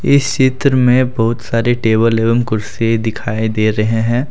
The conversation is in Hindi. इस चित्र में बहुत सारे टेबल एवं कुर्सी दिखाई दे रहे हैं।